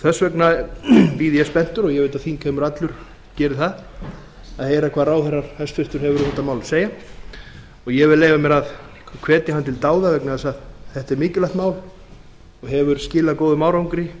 þess vegna bíð ég spenntur og ég veit að þingheimur allur gerir það að heyra hvað hæstvirtur ráðherra hefur um þetta mál að segja og ég vil leyfa mér að hvetja hann til dáða vegna þess að þetta er mikilvægt mál og hefur skilað góðum árangri